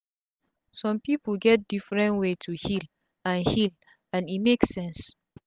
sum pipu get different way to heal and heal and e make sense